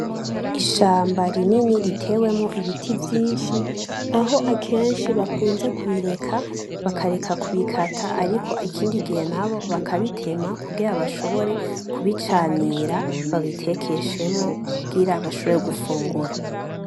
Ishamba rinini riteyemwo ibiti vyinshi aho akenshi bakunze kureka kubikata ariko ikindi gihe naho bakabitema kugira bashobore kubicanira babitekeshemwo kugira bashobore gufungura.